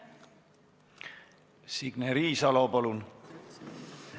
Signe Riisalo, palun!